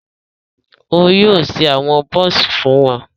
O yóò ṣe awọn buns fún wọn